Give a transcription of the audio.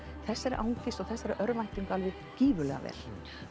þessari angist og örvæntingu gríðarlega vel